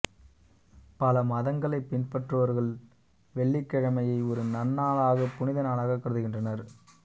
பல மதங்களைப் பின்பற்றுபவர்கள் வெள்ளிக்கிழமையை ஒரு நன்னாளாகக் புனித நாளாகக் கருதுகின்றனர்